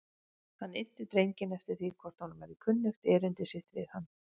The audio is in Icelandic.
Hann innti drenginn eftir því hvort honum væri kunnugt erindi sitt við hann.